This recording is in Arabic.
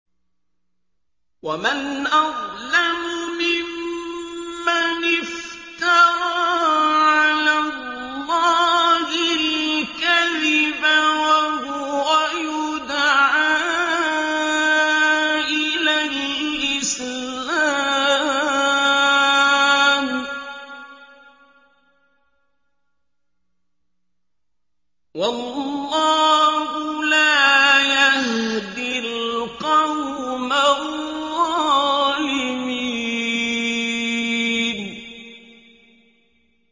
وَمَنْ أَظْلَمُ مِمَّنِ افْتَرَىٰ عَلَى اللَّهِ الْكَذِبَ وَهُوَ يُدْعَىٰ إِلَى الْإِسْلَامِ ۚ وَاللَّهُ لَا يَهْدِي الْقَوْمَ الظَّالِمِينَ